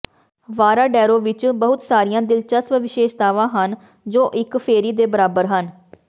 Varadero ਵਿਚ ਬਹੁਤ ਸਾਰੀਆਂ ਦਿਲਚਸਪ ਵਿਸ਼ੇਸ਼ਤਾਵਾਂ ਹਨ ਜੋ ਇਕ ਫੇਰੀ ਦੇ ਬਰਾਬਰ ਹਨ